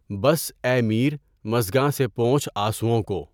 بس اے میر مژگاں سے پونچھ آنسوؤں کو